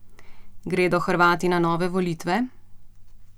Gredo Hrvati na nove volitve?